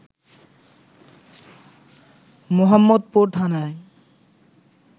মোহাম্মদপুর থানায়